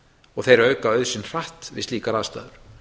og þeir auka auð sinn hratt við slíkar aðstæður